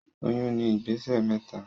Oyún ní ìgbésẹ̀ mẹ́ta